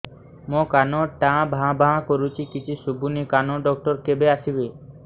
ମୋ କାନ ଟା ଭାଁ ଭାଁ କରୁଛି କିଛି ଶୁଭୁନି କାନ ଡକ୍ଟର କେବେ ଆସିବେ